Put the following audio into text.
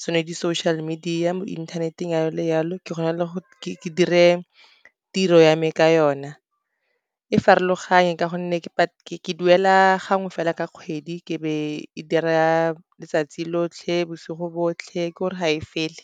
tsone di-social media mo inthaneteng yalo le yalo. Ke kgona ke dire tiro ya me ka yona, e farologane ka gonne ke duela gangwe fela ka kgwedi, ke be ke dira letsatsi lotlhe bosigo botlhe ke gore ga e fele.